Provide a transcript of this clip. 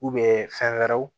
fɛn wɛrɛw